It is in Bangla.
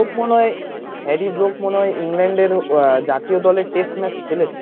মনে হয় হ্যারি ব্রুক মনে হয় ইংল্যান্ডের জাতীয় দলের test match খেলেছে